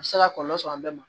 A bɛ se ka kɔlɔlɔ sɔrɔ an bɛɛ ma